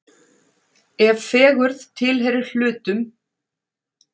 ef fegurð tilheyrir hlutum